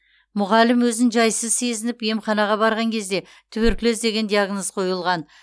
мұғалім өзін жайсыз сезініп емханаға барған кезде туберкулез деген диагноз қойылған